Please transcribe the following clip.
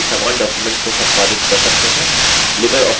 एक से अधिक व्यक्ति समान डॉक्युमेंट को संपादित कर सकते हैं